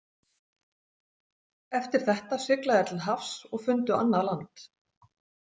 Eftir þetta sigla þeir til hafs og fundu annað land.